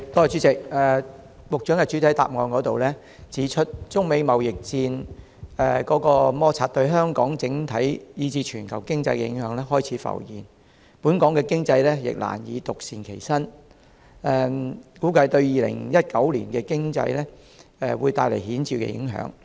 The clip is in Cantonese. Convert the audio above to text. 主席，局長在主體答覆中指出，中美貿易摩擦對香港整體以至全球經濟的影響開始浮現，本港經濟亦難以獨善其身，估計對2019年的經濟會帶來顯著的影響。